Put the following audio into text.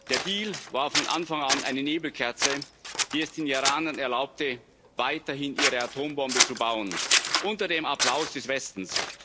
Der Deal war von Anfang an eine Nebelkerze, die es den Iranern erlaubte, weiterhin ihre Atombomben zu bauen unter dem Applaus des Westens.